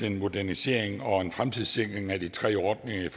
en modernisering og en fremtidssikring af de tre ordninger